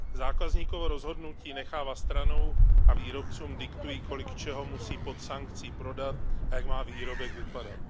Zákazníkovo rozhodnutí nechávají stranou a výrobcům diktují, kolik čeho musí pod sankcí prodat a jak má výrobek vypadat.